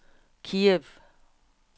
Kiev